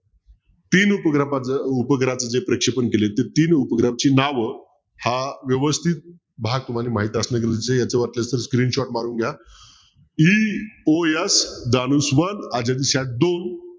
तीन उपग्रहाच प्रेक्षपण केलंय ते तीन उपग्रहांची नाव हा व्यवस्तीत भाग तुम्हाला माहित असं गरजेच आहे याचा वाटल्यास screenshot मारून घ्या EOS